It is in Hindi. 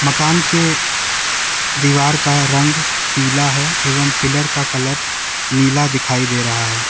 मकान के दीवार का रंग पीला है एवं पिलर का कलर नीला दिखाई दे रहा है।